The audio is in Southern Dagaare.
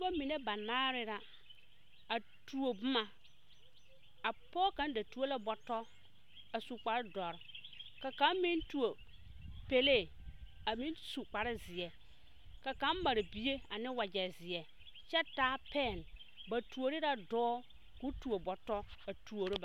Pɔgeba mine banaare la a tuo boma a pɔge kaŋa da tuo la botɔ a su kpare dɔre a kaŋa meŋ tuo pelee su kpare ziɛ ka kaŋa mare bie ane wagye ziɛ kyɛ taa pen ba tuori la dɔɔ ko tuo botɔ a tuoro ba.